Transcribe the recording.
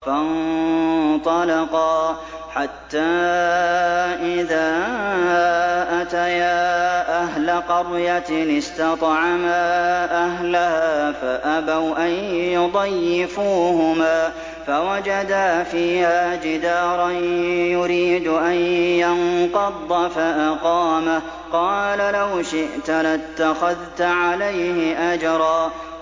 فَانطَلَقَا حَتَّىٰ إِذَا أَتَيَا أَهْلَ قَرْيَةٍ اسْتَطْعَمَا أَهْلَهَا فَأَبَوْا أَن يُضَيِّفُوهُمَا فَوَجَدَا فِيهَا جِدَارًا يُرِيدُ أَن يَنقَضَّ فَأَقَامَهُ ۖ قَالَ لَوْ شِئْتَ لَاتَّخَذْتَ عَلَيْهِ أَجْرًا